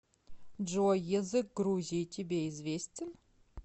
джой язык грузии тебе известен